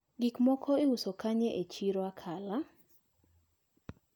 Gikmoko iuso kanye e chiro Akala?